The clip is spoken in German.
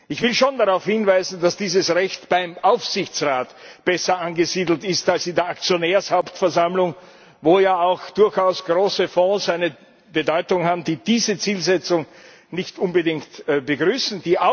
Ich will schon darauf hinweisen, dass dieses Recht beim Aufsichtsrat besser angesiedelt ist als in der Aktionärshauptversammlung, in der ja auch durchaus große Fonds eine Bedeutung haben, die diese Zielsetzung nicht unbedingt begrüßen.